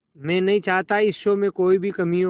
मैं नहीं चाहता इस शो में कोई भी कमी हो